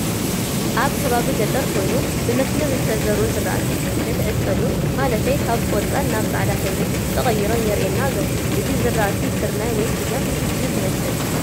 ኣብ ከባቢ ገጠር ኮይኑ ብመስመር ዝተዘርኡ ዝራእቲ ንክዕፀዱ ማለተይ ካብ ቆፃል ናብ ፃዕዳ ሕብሪ ተቀይሮም የሪኣና ኣሎ። እዚ ዝራእቲ ስርናይ ወይ ስገም እዩ ዝመስል።